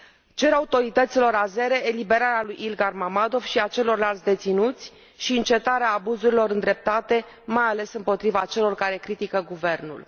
Cer autorităților azere eliberarea lui Ilgar Mammadov și a celorlalți deținuți și încetarea abuzurilor îndreptate mai ales împotriva celor care critică guvernul.